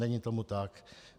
Není tomu tak.